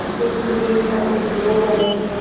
जिससे कि मेरी ताकत लौट आये